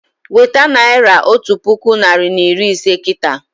Weta naira otu puku narị na iri ise kịta!